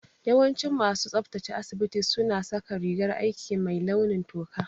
Yawancin masu tsabtace asibiti su na saka rigar aiki mai launin toka